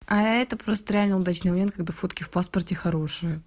а это просто реально удачный момент когда фотки в паспорте хорошие